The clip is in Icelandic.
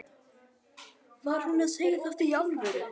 Var hún að segja þetta í alvöru?